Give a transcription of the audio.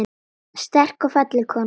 Sterk og falleg kona.